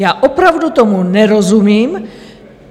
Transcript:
Já opravdu tomu nerozumím.